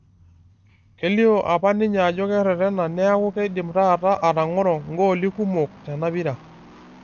Kelio apa ninye ajo kererena niaku keidim taata atang'oro gooli kumok tena pira.